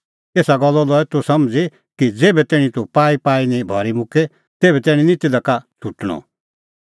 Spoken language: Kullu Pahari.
एसा गल्लो लऐ तूह समझ़ी कि ज़ेभै तैणीं तूह पाईपाई निं भरी मुक्के तेभै तैणीं निं तिधा का छ़ुटणअ